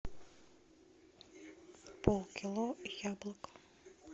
полкило яблок